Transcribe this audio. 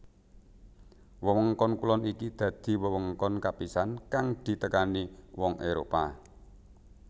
Wewengkon kulon iki dadi wewengkon kapisan kang ditekani wong Éropah